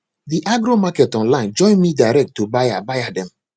the agromarket online join me direct to buyer buyer dem